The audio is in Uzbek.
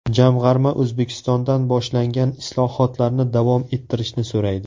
Jamg‘arma O‘zbekistondan boshlangan islohotlarni davom ettirishni so‘raydi.